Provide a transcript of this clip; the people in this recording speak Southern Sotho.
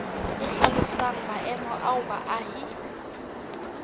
e hlalosang maemo ao baahi